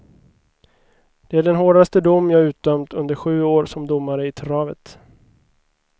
Det är den hårdaste dom jag utdömt under sju år som domare i travet.